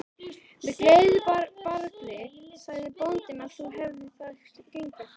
Með gleðibragði sagði bóndinn að nú hefði það gengið.